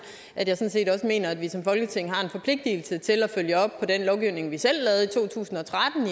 at jeg også mener at vi som folketing har en forpligtigelse til at følge op på den lovgivning vi selv lavede i to tusind og